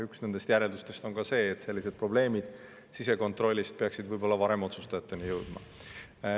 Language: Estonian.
Üks nendest järeldustest on ka see, et sellised sisekontrollis probleemid peaksid võib-olla varem otsustajateni jõudma.